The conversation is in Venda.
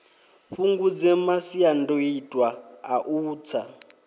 fhungudze masiandoitwa a u tsa